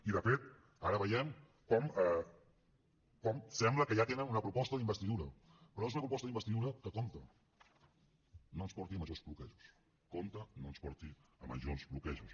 i de fet ara veiem com sembla que ja tenen una proposta d’investidura però és una proposta d’investidura que compte que no ens porti a major bloquejos compte que no ens porti a majors bloquejos